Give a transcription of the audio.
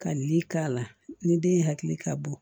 Ka nin k'a la ni den hakili ka bon